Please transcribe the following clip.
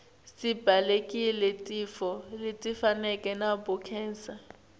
sibalekele tifo letifana nabo khensa